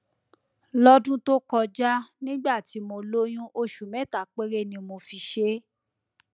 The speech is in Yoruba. lọdún tó kọjá nígbà tí mo lóyún oṣù mẹta péré ni mo fi ṣe é